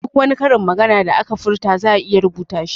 Duk wani karin maganan da aka furta za'a iya rubuta shi